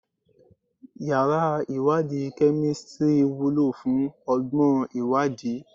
Yàrá ìwádìí kemistri wúlò fún ọgbọ́n ìwádìí